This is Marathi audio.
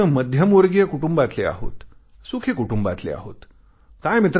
आपण मध्यमवर्गीय कुटुंबातले आहोत सुखी कुटुंबातले आहोत